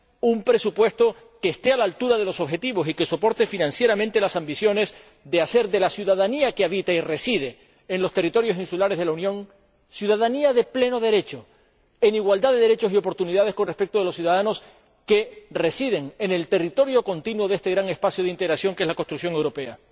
un presupuesto que esté a la altura de los objetivos y que respalde financieramente la ambición de hacer de la ciudadanía que habita y reside en los territorios insulares de la Unión una ciudadanía de pleno derecho, en igualdad de derechos y oportunidades con respecto de los ciudadanos que residen en el territorio continuo de este gran espacio de integración que es la construcción europea.